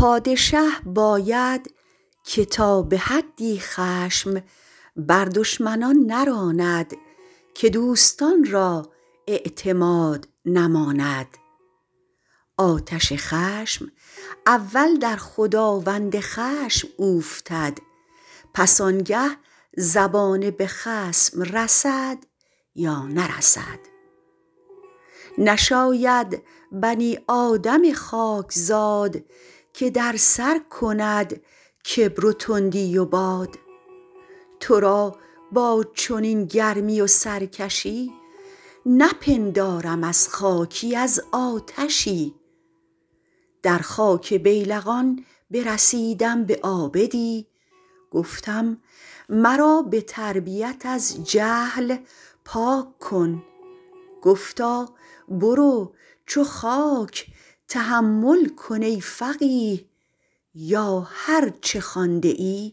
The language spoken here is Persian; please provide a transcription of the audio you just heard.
پادشه باید که تا به حدی خشم بر دشمنان نراند که دوستان را اعتماد نماند آتش خشم اول در خداوند خشم اوفتد پس آنگه زبانه به خصم رسد یا نرسد نشاید بنی آدم خاکزاد که در سر کند کبر و تندی و باد تو را با چنین گرمی و سرکشی نپندارم از خاکی از آتشی در خاک بیلقان برسیدم به عابدی گفتم مرا به تربیت از جهل پاک کن گفتا برو چو خاک تحمل کن ای فقیه یا هر چه خوانده ای